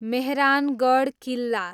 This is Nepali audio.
मेहरानगढ किल्ला